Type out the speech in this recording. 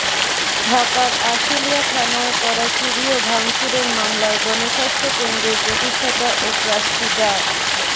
ঢাকার আশুলিয়া থানায় করা চুরি ও ভাঙচুরের মামলায় গণস্বাস্থ্য কেন্দ্রের প্রতিষ্ঠাতা ও ট্রাস্টি ডা